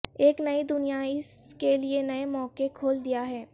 ایک نئی دنیا اس کے لئے نئے مواقع کھول دیا ہے